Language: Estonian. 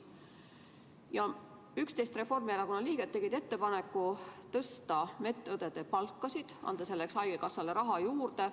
11 Reformierakonna liiget tegid ettepaneku tõsta meditsiiniõdede palkasid, anda selleks haigekassale raha juurde.